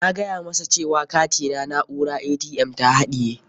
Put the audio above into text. Na gaya masa cewa katina na'urar ATM ta haɗaye.